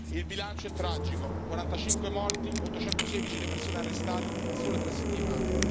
Il bilancio è tragico 45 morti, 816 le persone arrestate in sole tre settimane.